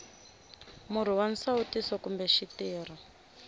murhi wa nsawutiso kumbe xitirho